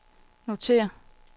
notér